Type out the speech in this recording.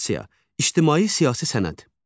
İctimai-siyasi sənəd.